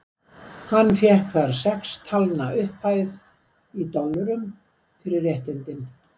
Hann fékk þar sex talna upphæð, í dollurum, fyrir réttindin.